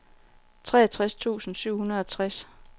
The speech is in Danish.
treogtres tusind syv hundrede og tres